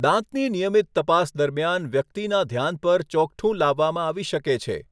દાંતની નિયમિત તપાસ દરમિયાન વ્યક્તિના ધ્યાન પર ચોકઠું લાવવામાં આવી શકે છે.